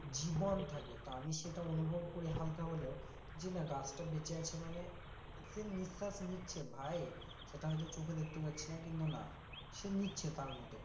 জীবন থাকে তো আমি সেটা অনুভব করি হালকা হলেও যে না গাছটা বেঁচে আছে মানে সে নিশ্বাস নিচ্ছে ভাই, সেটা হয়তো চোখে দেখতে পারছি না কিন্তু না সে নিচ্ছে তার মতো করে,